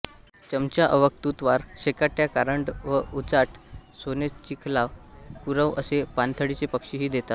चमचा अवाक तुतवार शेकाट्या कारंडवउचाट सोनचिलखा कुरव असे पाणथळीचे पक्षीही येतात